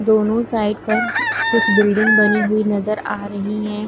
दोनों साइड पर कुछ बिल्डिंग बनी हुई नज़र आ रही है।